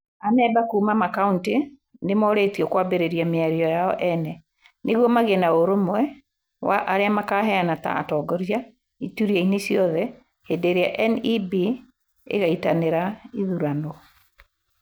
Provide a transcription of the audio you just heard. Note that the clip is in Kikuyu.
Amemba kuuma makaũntĩ nĩ moorĩtio kũambĩrĩria mĩario yao ene, nĩguo magĩe na ũrũmwe wa arĩa makaheana ta atongoria iturwa-inĩ ciothe hĩndĩ ĩrĩa NEB ĩgaĩtanĩra ĩthurano.